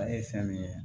ye fɛn min ye